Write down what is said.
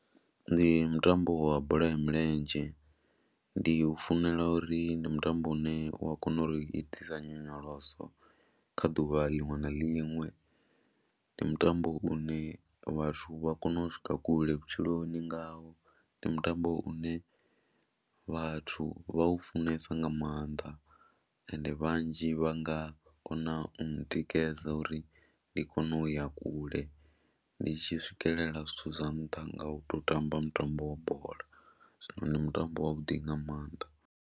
Ndi mutambo wa bola ya milenzhe, ndi u funela uri ndi mutambo une u a kona uri itisa nyonyoloso kha ḓuvha liṅwe na liṅwe. Ndi mutambo une vhathu vha konou swika kule vhutshiloni ngawo, ndi mutambo une vhathu vha u funesa nga maanḓa ende vhanzhi vha nga kona u ntikedza uri ndi kone u ya kule, ndi tshi swikelela zwithu zwa nṱha nga u tou tamba mutambo wa bola, zwino ndi mutambo wavhuḓi nga maanḓa.